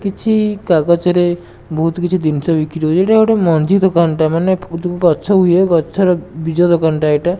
କିଛି କାଗଜରେ ବୋହୁତ କିଛି ଜିନିଷ ବିକ୍ରି ହୋଉଚି ଏଇଟା ଗୋଟେ ମଞ୍ଜି ଦୋକାନଟା ମାନେ ଗଛ ହୁଏ ଗଛର ବୀଜ ଦୋକାନଟା ଏଇଟା।